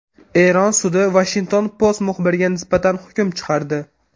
Eron sudi Washington Post muxbiriga nisbatan hukm chiqardi.